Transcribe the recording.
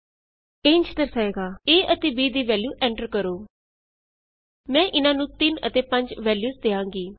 ਇਥੇ ਇਹ ਇੰਝ ਦਰਸਾਏਗਾ a ਅਤੇ b ਦੀ ਵੈਲਯੂ ਐਂਟਰ ਕਰੋ enter the value of A and B ਮੈਂ ਇਹਨਾਂ ਨੂੰ 3 ਅਤੇ 5 ਵੈਲਯੂਸ ਦਿਆਂਗੀ